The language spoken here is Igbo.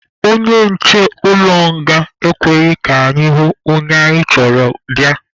Onye nche ụlọ nga ekweghị anyị hụ onye anyị chọrọ bịa.